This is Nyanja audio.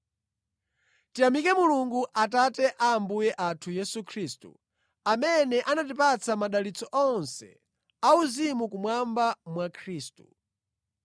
Tiyamike Mulungu, Atate a Ambuye athu Yesu Khristu, amene anatipatsa madalitso onse a uzimu kumwamba mwa Khristu.